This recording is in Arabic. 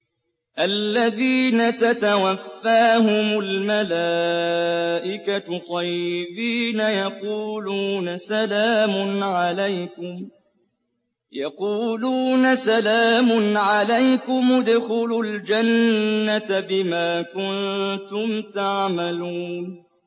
الَّذِينَ تَتَوَفَّاهُمُ الْمَلَائِكَةُ طَيِّبِينَ ۙ يَقُولُونَ سَلَامٌ عَلَيْكُمُ ادْخُلُوا الْجَنَّةَ بِمَا كُنتُمْ تَعْمَلُونَ